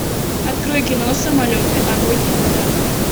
открой кино самолеты огонь и вода